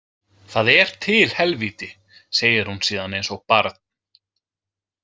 Það er til helvíti, segir hún síðan eins og barn.